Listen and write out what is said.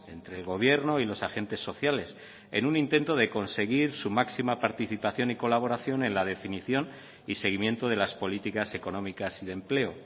entre el gobierno y los agentes sociales en un intento de conseguir su máxima participación y colaboración en la definición y seguimiento de las políticas económicas y de empleo